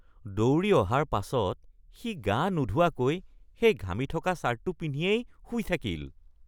দৌৰি অহাৰ পাছত সি গা নোধোৱাকৈ সেই ঘামি থকা ছাৰ্টটো পিন্ধিয়েই শুই থাকিল।